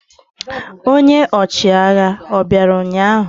Ọnye ochịagha obịara ụnyahụ?